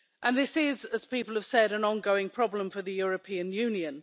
This is, as people have said, an ongoing problem for the European Union.